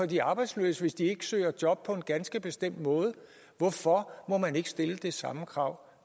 de arbejdsløse hvis de ikke søger job på en ganske bestemt måde hvorfor må man ikke stille det samme krav